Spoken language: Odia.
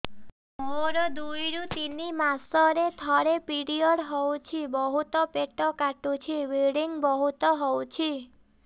ମୋର ଦୁଇରୁ ତିନି ମାସରେ ଥରେ ପିରିଅଡ଼ ହଉଛି ବହୁତ ପେଟ କାଟୁଛି ବ୍ଲିଡ଼ିଙ୍ଗ ବହୁତ ହଉଛି